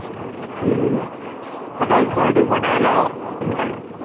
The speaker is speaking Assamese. উম তাতে ঘৰটো বনাই ল সোনকালে।